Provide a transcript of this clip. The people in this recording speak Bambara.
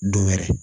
Don wɛrɛ